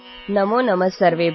ସମସ୍ତଙ୍କୁ ନମସ୍କାର